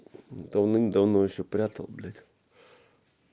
давным-давно ещё прятал блять